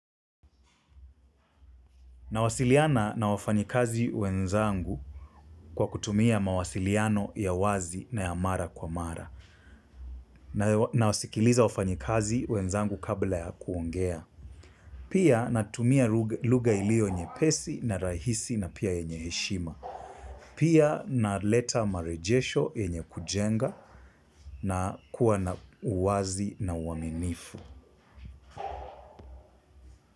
Nawasiliana na wafanyikazi wenzangu kwa kutumia mawasiliano ya wazi na ya mara kwa mara. Nawasikiliza wafanyikazi wenzangu kabla ya kuongea. Pia natumia lugha iliyo nyepesi na rahisi na pia yenye heshima. Pia naleta marejesho yenye kujenga, na kuwa na uwazi na uaminifu.